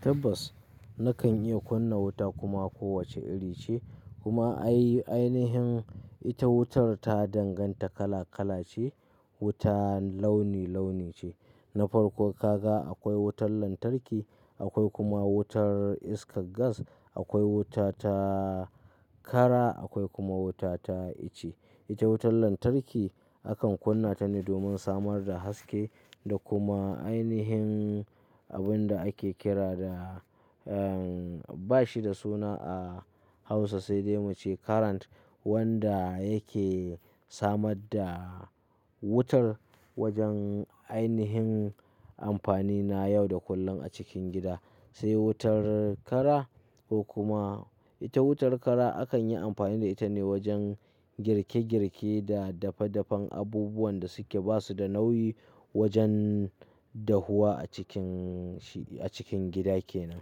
Tabbas na kan iya kunna wuta kuma ko wace iri ce kuma ainihin ita wutar ta danganta kala kala ce, wuta launi launi ce. Na farko ka ga akwai wutar lantarki, akwai kuma wutar iskar gas, akwai wuta ta kara akwai kuma wuta ta ice. Ita wutar lantarki akan kunna ta ne domin samar da haske da kuma ainihin abun da ake kira da, eh ba shi da suna a Hausa sai dai muce current wanda yake samar da wutar wajen ainihin amfani na yau da kullum a cikin gida. Sai wutar kara, ko kuma ita wutar kara akan yi amfani da ita ne wajen girke girke da dafe dafan abubuwan da suke basu da nauyi wajen dahuwa a cikin shi, a cikin gida kenan.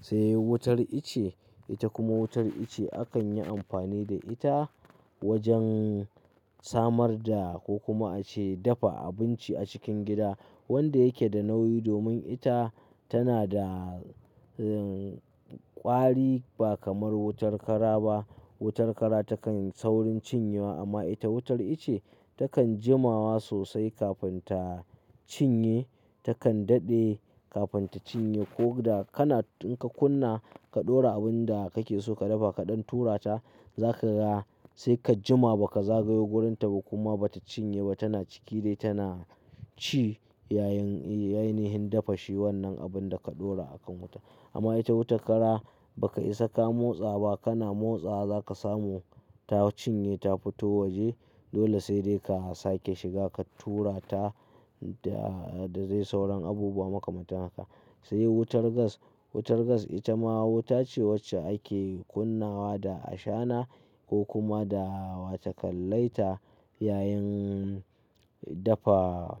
Sai wutar ice, ita kuma wutar ice akan yi amfani da ita wajen samar da ko kuma ace dafa abinci a cikin gida wanda yake da nauyi domin ita tana da kwari ba kamar wutar kara ba. Wutar kara takan saurin cinye wa amma ita wutar ice takan jimawa sosai kafin ta cinye, takan daɗe kafin ta cinye ko da kana, in ka kunna ka ɗora abun da kake so ka dafa ka ɗan tura ta, za ka ga sai ka jima ba ka zagayo wurinta ba kuma ba ta cinye ba tana ciki dai tana ci yayin, yayin dafa shi wannan abun da ka ɗora a kan wuta. Amma ita wuta kara ba ka isa ka motsa ba, kana motsa za ka samu ta cinye ta fito waje. Dole sai dai ka sake shiga ka tura ta da zai sauran abubuwa makamanta haka. Sai wutar gas, wutar gas ita ma wuta ce wacce ake kunnawa da ashana ko kuma da wato ka laita yayin dafa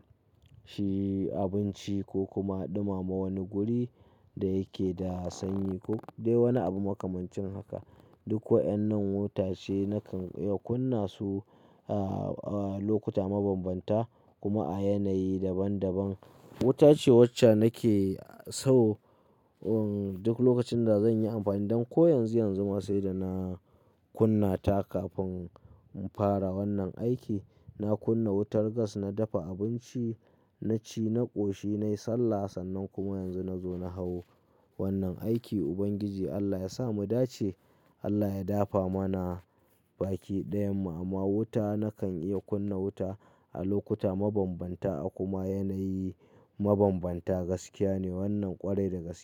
shi abinci ko kuma ɗumama wani guri da yake da sanyi ko dai wani abu makamancin haka. Duk wa'yan nan wuta ce na kan iya kunna su a lokuta mabambanta kuma a yanayi daban daban. Wuta ce wacce nake so duk lokacin da zan yi amfani dan ko yanzu yanzu ma sai da na kunna ta kafin in fara wannan aiki. Na kunna wutar gas, na dafa abinci, na ci, na ƙoshi, na yi sallah sannan kuma yanzu na zo na hau wannan aiki. Ubangiji Allah ya sa mu dace, Allah ya dafa mana baki dayan mu amma wuta na kan iya kunna wuta a lokuta mabambanta a kuma yanayi mabambanta. Gaskiya ne wannan ƙwarai da gaske.